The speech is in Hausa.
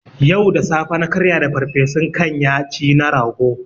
Yau da safe na karya da farfesun kanya ci na rago